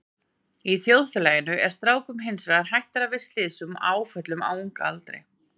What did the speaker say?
Í þjóðfélaginu er strákum hins vegar hættara við slysum og áföllum á unga aldri.